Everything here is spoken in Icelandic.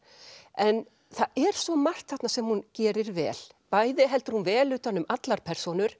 en það er svo margt þarna sem hún gerir vel bæði heldur hún vel utan um allar persónur